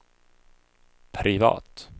privat